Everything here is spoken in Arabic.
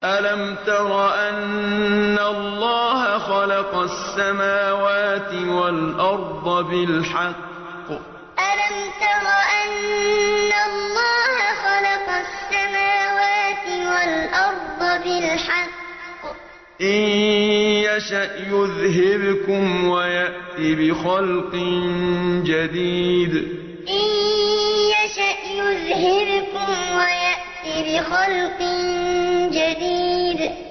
أَلَمْ تَرَ أَنَّ اللَّهَ خَلَقَ السَّمَاوَاتِ وَالْأَرْضَ بِالْحَقِّ ۚ إِن يَشَأْ يُذْهِبْكُمْ وَيَأْتِ بِخَلْقٍ جَدِيدٍ أَلَمْ تَرَ أَنَّ اللَّهَ خَلَقَ السَّمَاوَاتِ وَالْأَرْضَ بِالْحَقِّ ۚ إِن يَشَأْ يُذْهِبْكُمْ وَيَأْتِ بِخَلْقٍ جَدِيدٍ